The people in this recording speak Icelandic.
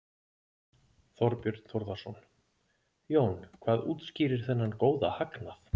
Þorbjörn Þórðarson: Jón, hvað útskýrir þennan góða hagnað?